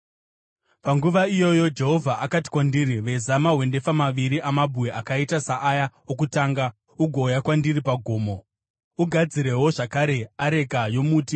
Panguva iyoyo Jehovha akati kwandiri, “Veza mahwendefa maviri amabwe akaita saaya okutanga ugouya kwandiri pagomo. Ugadzirewo zvakare areka yomuti.